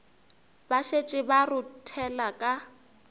ba šetše ba rothela ka